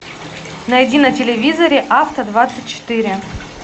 найди на телевизоре авто двадцать четыре